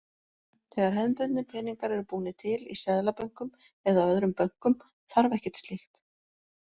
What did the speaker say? Þegar hefðbundnir peningar eru búnir til, í seðlabönkum eða öðrum bönkum, þarf ekkert slíkt.